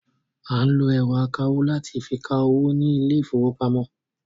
À ń lọ ẹ̀rọ akawó láti fi ka owó ní ilé ìfowópamọ́.